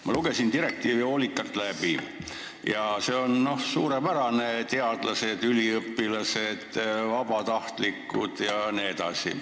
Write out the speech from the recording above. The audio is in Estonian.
Ma lugesin direktiivi hoolikalt läbi ja see on suurepärane: teadlased, üliõpilased, vabatahtlikud jne.